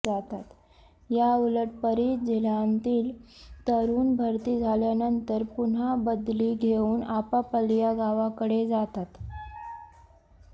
या उलट परजिल्ह्यांतील तरूण भरती झाल्यानंतर पुन्हा बदली घेऊन आपापल्या गावाकडे जातात